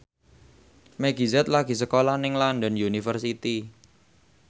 Meggie Z lagi sekolah nang London University